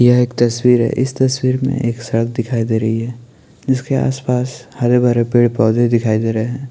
ये एक तस्वीर है इस तस्वीर में एक सड़क दिखाई दे रही है इसके आस पास हरे भरे पेड़ पोधे दिखाई दे रहे है।